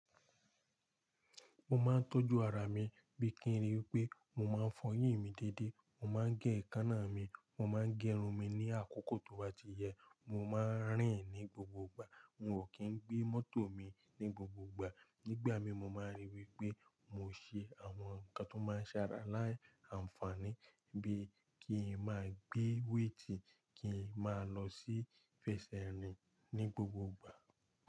Mo máa ń tọ́jú ara mi bíi kí n rí i pé mo máa ń fọyín mi déédé, mo máa ń gé èékánná mi, mo máa ń gẹrun mi ní àkókò tó bá ti yẹ, mo máa ń rìn ní gbogbogbà, hun o kí ń gbé mọ́tò mi ní gbogbogbà, nígbà mi mo máa ń rí i wí pé mo ṣe àwọn nǹkan tó máa ń ṣàrà láì àǹfààní bí i kí n máa gbé wéètì, kí n máa lọ sí fèsè rìn ní gbogbogbà.